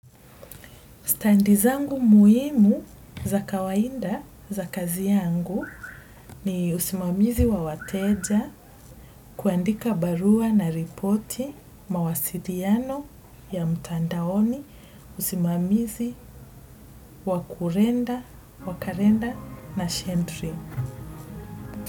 Standi zangu muhimu za kawaida za kazi yangu ni usimamizi wa wateja kuandika barua na ripoti mawasiliano ya mtandaoni usimamizi wa kalenda na shendri.